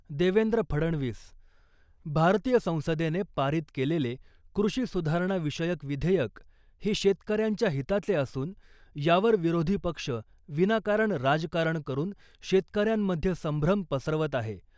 देवेंद्र फडणवीस, भारतीय संसदेने पारित केलेले कृषि सुधारणा विषयक विधेयक हे शेतकऱ्यांच्या हिताचे असून यावर विरोधी पक्ष विनाकारण राजकारण करून शेतकऱ्यांमध्ये संभ्रम पसरवत आहे .